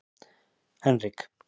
Henrik